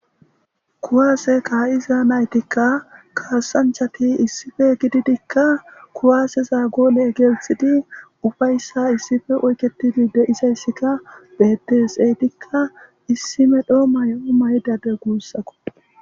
Kuwaase kaa'iza naytikka kaassanchati issife gididikka kuwaaseza goole geelthidi ufayssa issife oyketidi deisayssikka betes eydikka issime dhoo mayo maydade guussako.